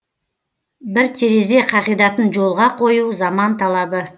бір терезе қағидатын жолға қою заман талабы